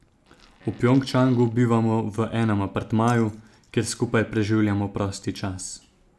V Pjongčangu bivamo v enem apartmaju, kjer skupaj preživljamo prosti čas.